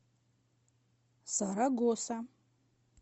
сарагоса